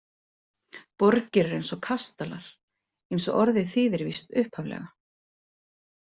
Borgir eru eins og kastalar, eins og orðið þýðir víst upphaflega.